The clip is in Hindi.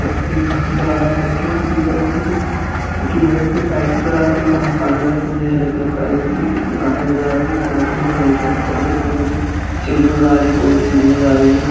मुझे एक घर नज़र आ रहा है घर के पीछे की तरफ मुझे कुछ लोहे के पाइप नज़र आ रहे है और सामने की तरफ मुझे हरे कलर का ए घासें नज़र आ रही है इसी के साथ मुझे घर के ऊपर की तरफ मुझे सीढ़ी नज़र आ रही है दो एक सीढ़ी नज़र आ रही है घ --